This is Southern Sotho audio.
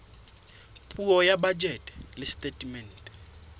puo ya bajete le setatemente